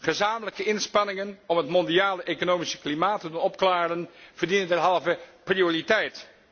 Gezamenlijke inspanningen om het mondiale economische klimaat te doen opklaren verdienen derhalve prioriteit.